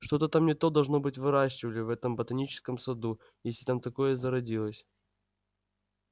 что-то там не то должно быть выращивали в этом ботаническом саду если там такое зародилось